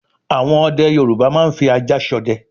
àwọn ọdẹ Yorùbá máa ń fi ajá s'ọdẹ